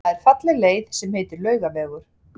Það er falleg leið sem heitir Laugavegur.